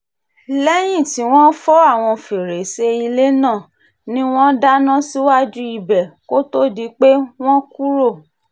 lẹ́yìn tí wọ́n fọ́ àwọn fèrèsé ilé náà ni wọ́n dáná síwájú ibẹ̀ kó tóó di pé wọ́n kúrò